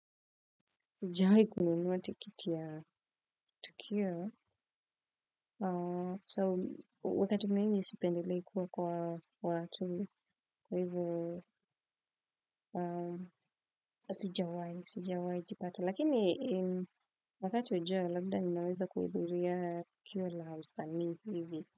Sijawahi kununua tikiti ya tukio. So wakati mimi nisipendelei kuwa kwa watu kwa hivyo sijawai jipata. Lakini wakati ujao labda ninaweza kuibiria kia la usani hivyo.